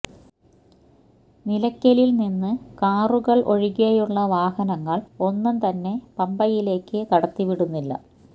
നിലയ്ക്കലില് നിന്ന് കാറുകള് ഒഴികെയുള്ള വാഹനങ്ങള് ഒന്നും തന്നെ പമ്പയിലേക്ക് കടത്തിവിടുന്നില്ല